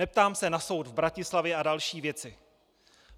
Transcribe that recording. Neptám se na soud v Bratislavě a další věci.